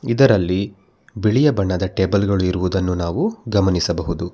ಇದರಲ್ಲಿ ಬಿಳಿಯ ಬಣ್ಣದ ಟೇಬಲ್ ಗಳು ಇರುವುದನ್ನು ನಾವು ಗಮನಿಸಬಹುದು.